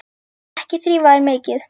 Ekki þrífa þær mikið.